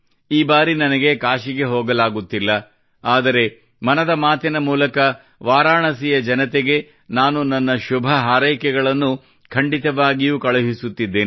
ಈ ಬಾರಿ ನನಗೆ ಕಾಶಿಗೆ ಹೋಗಲಾಗುತ್ತಿಲ್ಲ ಆದರೆ ಮನದ ಮಾತಿನ ಮೂಲಕ ವಾರಾಣಸಿಯ ಜನತೆಗೆ ನಾನು ನನ್ನ ಶುಭ ಹಾರೈಕೆಗಳನ್ನು ಖಂಡಿತವಾಗಿಯೂ ಕಳುಹಿಸುತ್ತಿದ್ದೇನೆ